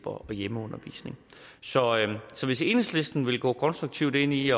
og hjemmeundervisning så hvis enhedslisten vil gå konstruktivt ind i